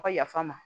A ka yafa n ma